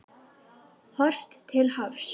Horft til hafs.